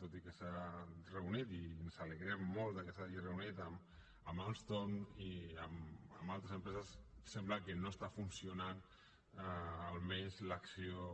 tot i que s’ha reunit i ens alegrem molt que s’hi hagi reunit amb alstom i amb altres empreses sembla que no està funcionant almenys l’acció